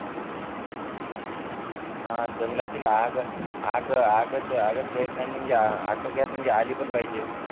हा जंगलातील आग आग आग आगच्या प्रयत्नाने आग आटोक्यात म्हणजे आली पण पाहिजे